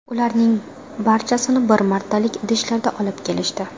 Ularning barchasini bir martalik idishlarda olib kelishdi.